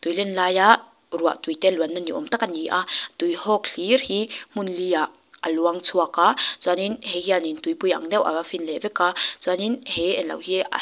tui len laia ruah tuite luanna ni awm tak a ni a tuihawk hlir hi hmun liah a luang chhuak a chuan in hei hian in tuipui ang deuh ava fin leh vek a chuanin he eng lo hi a--